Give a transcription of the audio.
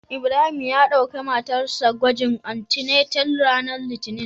Ibrahim ya dauki matar sa gwagin antenatal ranar Litinin.